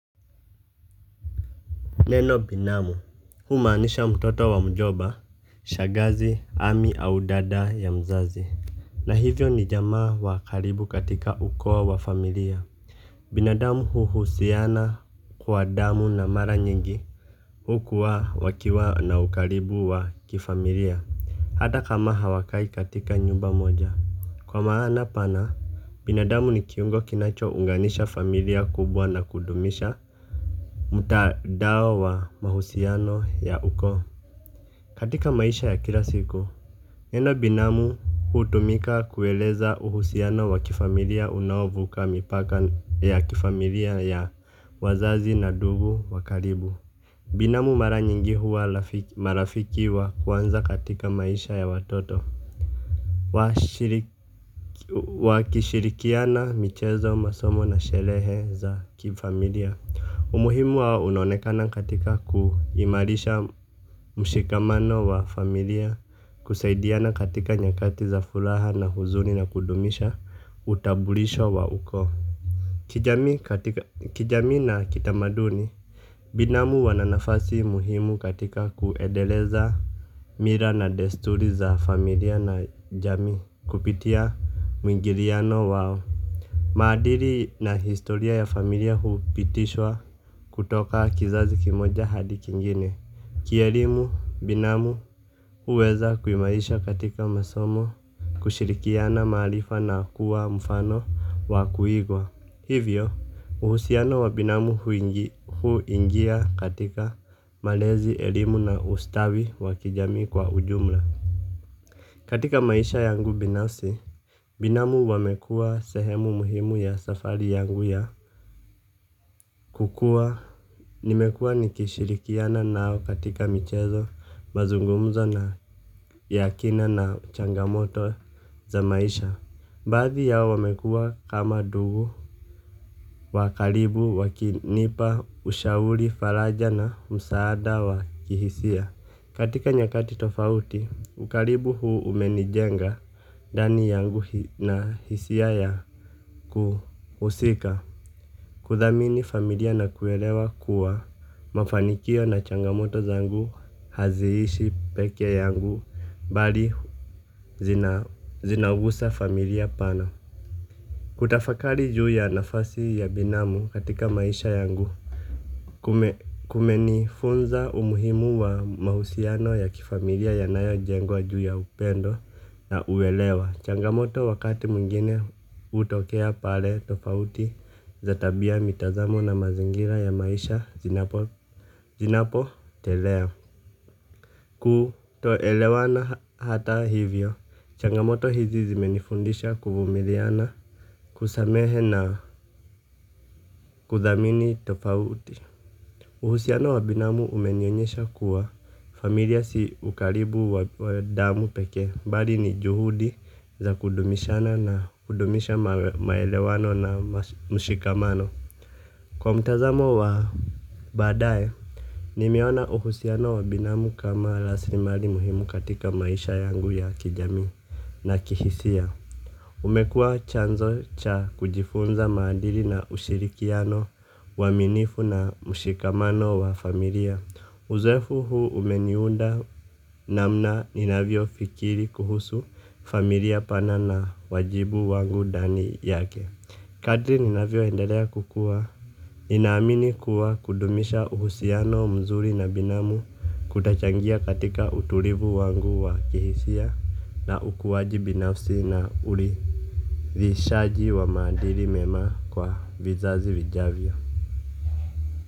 Neno binamu, humaanisha mtoto wa mjoba, shagazi, ami au dada ya mzazi. Na hivyo ni jamaa wa karibu katika ukoo wa familia binadamu huhusiana kwa damu na maranyingi. Hukua wakiwa na ukaribu wa kifamilia. Hata kama hawakai katika nyumba moja. Kwa maana pana, binadamu ni kiungo kinacho unganisha familia kubwa na kudumisha mutadao wa mahusiano ya ukoo. Katika maisha ya kila siku neno binamu hutumika kueleza uhusiano wa kifamilia unaovuka mipaka ya kifamilia ya wazazi na dugu wakaribu binamu maranyanga huwa marafiki wa kwanza katika maisha ya watoto. Wakishirikiana michezo masomo na shelehe za kifamilia. Umuhimu wao unonekana katika kuhimarisha mshikamano wa familia kusaidiana katika nyakati za fulaha na huzuni na kudumisha utabulisho wa uko kijamii na kitamaduni binamu wana nafasi muhimu katika kuendeleza mila na desturi za familia na jamii kupitia mwingiliano wao. Maadiri na historia ya familia huupitishwa kutoka kizazi kimoja hadi kingine. Kielimu binamu hueza kuimarisha katika masomo kushirikiana maarifa na kuwa mfano wa kuigwa. Hivyo, uhusiano wa binamu huingia katika malezi elimu na ustawi wa kijamii kwa ujumla. Katika maisha yangu binafsi, binamu wamekuwa sehemu muhimu ya safari yangu ya kukua. Nimekua nikishirikiana nao katika michezo, mazungumzo na ya kina na changamoto za maisha. Baadhi yao wamekua kama dugu wa kalibu wakinipa ushauri falaja na msaada wa kihisia. Katika nyakati tofauti, ukaribu huu umenijenga dani yangu na hisia ya kuhusika. Kuthamini familia na kuelewa kuwa mafanikio na changamoto zangu, haziishi peke yangu, bali zinaugusa familia pana. Kutafakari juu ya nafasi ya binamu katika maisha yangu kume kumenifunza umuhimu wa mausiano ya kifamilia ya nayo jengwa juu ya upendo na uelewa. Changamoto wakati mwingine utokea pale tofauti za tabia mitazamo na mazingira ya maisha zinapo telea. Kutoelewana hata hivyo, changamoto hizi zimenifundisha kubumiliana kusamehe na kudhamini tofauti. Uhusiano wa binamu umenionyesha kuwa familia si ukaribu wa damu pekee bali ni juhudi za kudumishana na kudumisha maelewano na mshikamano. Kwa mtazamo wa badae, nimeona uhusiano wa binamu kama laslimari muhimu katika maisha yangu ya kijamii na kihisia. Umekua chanzo cha kujifunza maadili na ushirikiano uwaminifu na mushikamano wa familia. Uzoefu huu umeniunda namna ninavyo fikiri kuhusu familia pana na wajibu wangu dani yake. Kadri ninavyo endalea kukua ninaamini kuwa kudumisha uhusiano mzuri na binamu kutachangia katika utulivu wangu wa kihisia na ukuwaji binafsi na uri vishaji wa madiri mema kwa vizazi vijavyo.